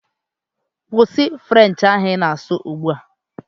Kwụsị French ahụ ị na-asụ ugbu a!